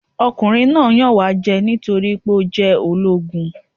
Ọkùnrin náà yàn wá jẹ nítorí ó jẹ́ ológun.